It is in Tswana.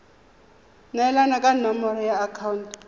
neelana ka nomoro ya akhaonto